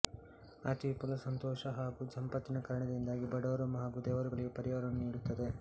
ಅತಿವಿಪುಲ ಸಂತೋಷ ಹಾಗು ಸಂಪತ್ತಿನ ಕಾರಣದಿಂದಾಗಿ ಬಡವರು ಹಾಗು ದೇವರುಗಳಿಗೆ ಪರಿಹಾರವನ್ನು ನೀಡುತ್ತದೆ